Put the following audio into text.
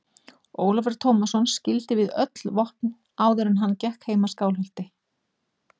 Ólafur Tómasson skildi við sig öll vopn áður en hann gekk heim að Skálholti.